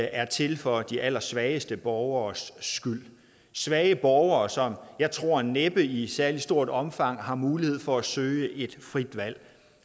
er til for de allersvageste borgeres skyld svage borgere som jeg tror næppe i særlig stort omfang har mulighed for at søge et frit valg